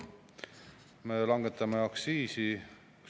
Me langetame aktsiise.